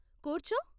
కూర్చో .